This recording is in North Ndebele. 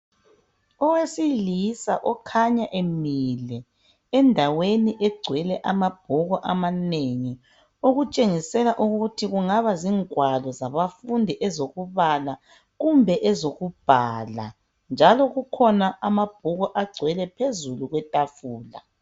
Owesilisa okhanya emile endaweni egcwele amabhuku amanengi, okutshengisela ukuthi kungaba zingwalo zabafundi ezokubala kumbe ezokubhala, njalo kukhona amabhuku agcwele phezulu kwetafula.